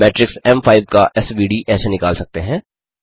matrix एम5 का SVD ऐसे निकाल सकते हैं